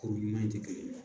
kuru ɲuman in tɛ kelen ye